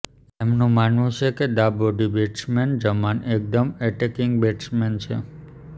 એમનું માનવું છે કે ડાબોડી બેટ્સમેન ઝમાન એકદમ એટેકિંગ બેટ્સમેન છે